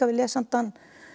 lesandann